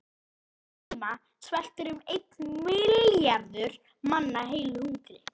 Á sama tíma sveltur um einn milljarður manna heilu hungri.